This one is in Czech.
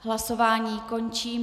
Hlasování končím.